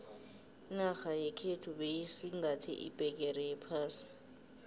inarha yekhethu beyisingathe iphegere yephasi